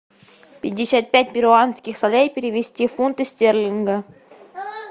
пятьдесят пять перуанских солей перевести в фунты стерлинга